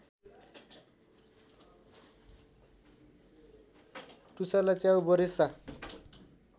टुसालाई च्याउबरेसा